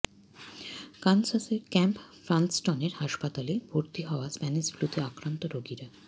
কানসাসের camp ফান্সটনের হাসপাতালে ভর্তি হওয়া স্প্যানিশ ফ্লুতে আক্রান্ত রোগীরা